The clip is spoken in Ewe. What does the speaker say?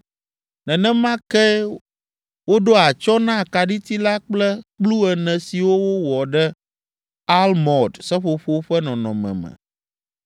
Nenema ke woɖo atsyɔ̃ na akaɖiti la kple kplu ene siwo wowɔ ɖe “almɔd” seƒoƒo ƒe nɔnɔme me.